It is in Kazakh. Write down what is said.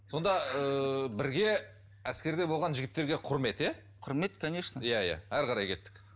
сонда ыыы бірге әскерде болған жігіттерге құрмет иә құрмет конечно иә иә әрі қарай кеттік